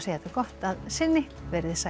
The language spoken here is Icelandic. þetta gott að sinni veriði sæl